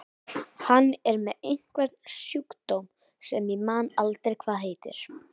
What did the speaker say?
Hann er með einhvern sjúkdóm sem ég man aldrei hvað heitir.